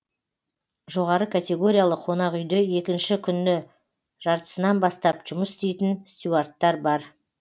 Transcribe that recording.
жоғары категориялы қонақ үйде екінші күні жартысынан бастап жұмыс істейтін стюардтар бар